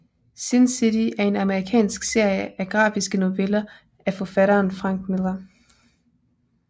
Sin City er en amerikansk serie af grafiske noveller af forfatteren Frank Miller